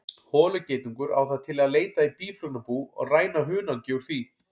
Holugeitungur á það til að leita í býflugnabú og ræna hunangi úr því.